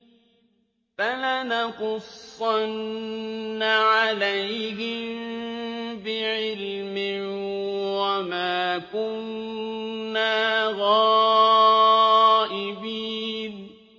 فَلَنَقُصَّنَّ عَلَيْهِم بِعِلْمٍ ۖ وَمَا كُنَّا غَائِبِينَ